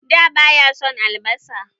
Da ba ya son albasa.